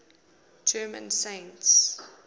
german saints